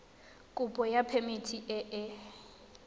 kopo ya phemiti e e